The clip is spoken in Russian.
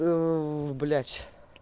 блядь